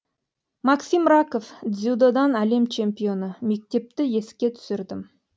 максим раков дзюдодан әлем чемпионы мектепті еске түсірдім